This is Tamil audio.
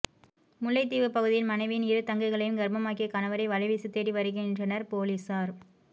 முல்லைத்தீவுப்பகுதியில் மனைவியின் இரு தங்கைகளையும் கர்ப்பமாக்கிய கணவரை வலைவீசித் தேடிவருகின்றாரனர் பொலிசார்